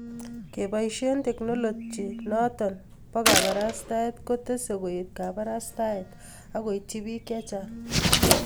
keboishe teknolochy choto bo kabarastaet ko tesee koet kabarastaet akoityi bik chechang